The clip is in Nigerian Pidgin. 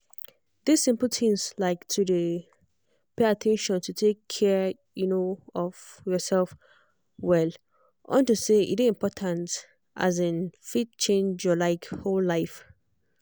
this simple tins like to dey pay at ten tion to take care um of yourself well unto say e dey important um fit change your like whole life